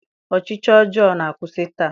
Ọchịchị ọjọọ na-akwụsị taa